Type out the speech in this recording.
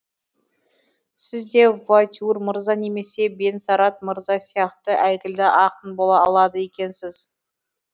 сіз де вуатюр мырза немесе де бенсерад мырза сияқты әйгілі ақын бола алады екенсіз